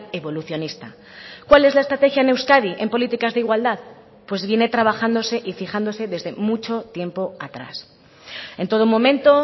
evolucionista cuál es la estrategia en euskadi en políticas de igualdad pues viene trabajándose y fijándose desde mucho tiempo atrás en todo momento